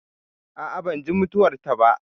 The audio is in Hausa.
A'a, ban ji mutuwar ta ba